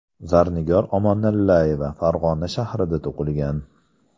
Zarnigor Omonillayeva Farg‘ona shahrida tug‘ilgan.